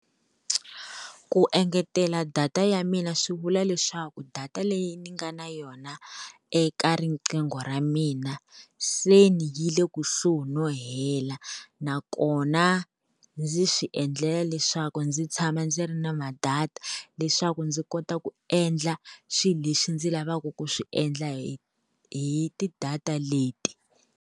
Ku engetela data ya mina, swi vula leswaku data leyi ni nga na yona eka riqingho ra mina se ni yi le kusuhi no hela, nakona ndzi swi endlela leswaku ndzi tshama ndzi ri na ma-data leswaku ndzi kota ku endla swilo leswi ndzi lavaka ku swi endla hi hi ti-data leti.